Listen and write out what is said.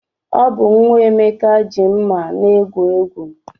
Ọ bụ nwa Emeka ji mma na-egwu egwu.